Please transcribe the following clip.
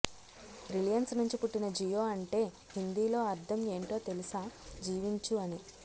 Reliance నుంచి పుట్టిన జియో అంటే హిందీలో అర్థం ఏంటో తెలుసా జీవించు అని